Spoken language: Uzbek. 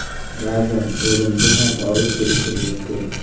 Ba’zan o‘limga ham olib kelishi mumkin.